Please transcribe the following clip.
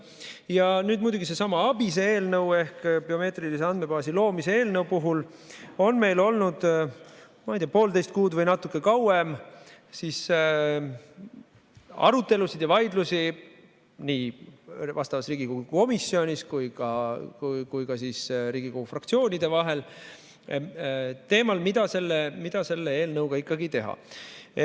Ja nüüd muidugi sellesama ABIS-e eelnõu ehk biomeetrilise andmebaasi loomise eelnõu puhul on meil olnud, ma ei tea, poolteist kuud või natuke kauem arutelusid ja vaidlusi nii vastavas Riigikogu komisjonis kui ka Riigikogu fraktsioonide vahel teemal, mida selle eelnõuga ikkagi teha.